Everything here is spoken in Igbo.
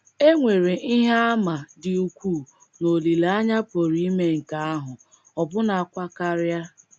E nwere ihe àmà dị ukwuu na olileanya pụrụ ime nke ahụ — ọbụnakwa karịa.